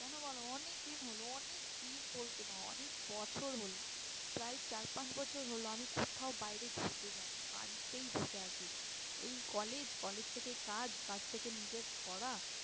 কেন বলো অনেকদিন হলো অনেকদিন বলতে না অনেক বছর লহো। প্রায় চার পাঁচ বছর হলো আমি কোথাও বাইরে ঘুরতে যায়নি বাড়িতেই বসে আছি। এই college, college থেকে কাজ, কাজ থেকে নিজের পড়া